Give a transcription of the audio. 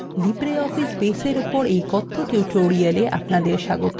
libreoffice baseএর এই কথ্য tutorial আপনাদের স্বাগত